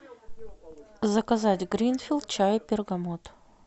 заказать гринфилд чай бергамот